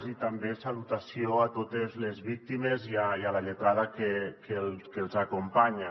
i també salutació a totes les víctimes i a la lletrada que els acompanya